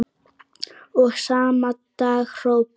Og sama dag hrópaði